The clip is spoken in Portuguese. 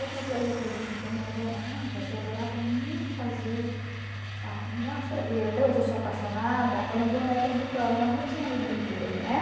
Outra coisa que a gente também adorava, que eu adorava muito fazer, nossa, e até hoje eu sou apaixonada, eram bonecas de pano, nós não tínhamos brinquedo, né?